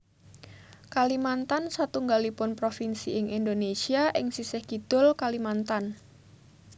Kalimatan satunggalipun provinsi ing Indonésia ing sisih kidul Kalimantan